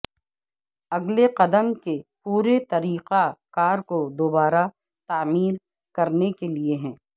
اگلے قدم کے پورے طریقہ کار کو دوبارہ تعمیر کرنے کے لئے ہے